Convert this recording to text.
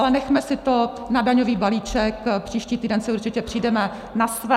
Ale nechme si to na daňový balíček, příští týden si určitě přijdeme na své.